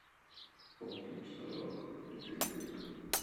оп мусорок литвиненко